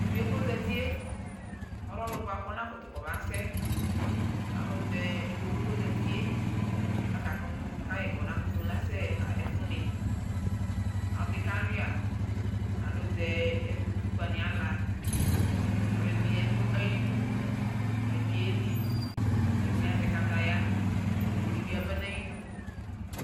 Tuvie ko zatie, ɔlɛ ɔlu bua kɔba kutu kɔba sɛ, ayɛlutɛ ɩkpokue kozatie ɔta kutu kayi kɔkutu nasɛ ɣa ɛfu ni, aɖi kaluia ayutɛ utikpa ni ala Alu ɛdini ya nayiɖu Ɛdini yeli, ɛdini azɛ kataya Ọwu ɖi bi yaba na yidu